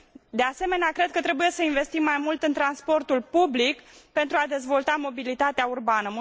De asemenea, cred că trebuie să investim mai mult în transportul public pentru a dezvolta mobilitatea urbană.